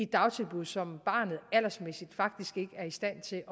dagtilbud som barnet aldersmæssigt faktisk ikke er i stand til